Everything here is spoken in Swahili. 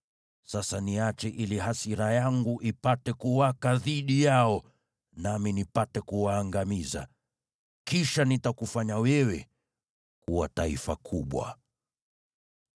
Sasa niache ili hasira yangu ipate kuwaka dhidi yao, nami nipate kuwaangamiza. Kisha nitakufanya wewe kuwa taifa kubwa.”